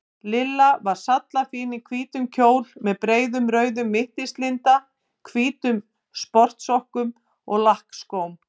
Lilla var sallafín í hvítum kjól með breiðum rauðum mittislinda, hvítum sportsokkum og lakkskóm.